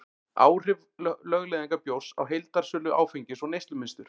áhrif lögleiðingar bjórs á heildarsölu áfengis og neyslumynstur